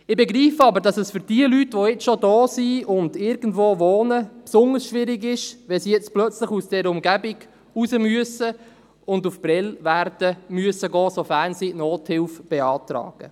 Ich begreife aber, dass es für jene Leute, die bereits hier sind und irgendwo wohnen, besonders schwierig ist, wenn sie plötzlich diese Umgebung verlassen und nach Prêles gehen müssen, sofern sie Nothilfe beantragen.